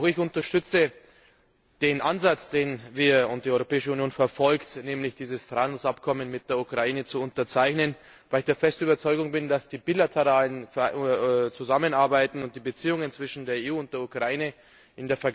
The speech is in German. Auch ich unterstütze den Ansatz, den wir und die Europäische Union verfolgen, nämlich dieses Handelsabkommen mit der Ukraine zu unterzeichnen, weil ich der festen Überzeugung bin, dass die bilaterale Zusammenarbeit und die Beziehungen zwischen der EU und der Ukraine, z. B.